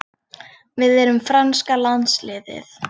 Við erum franska landsliðið.